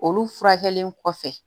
Olu furakɛli kɔfɛ